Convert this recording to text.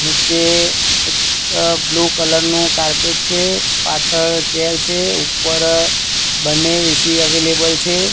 નીચે એક blue colour નું કાર્પેટ છે પાછળ ચેર છે ઉપર બંને એ_સી અવેલેબલ છે.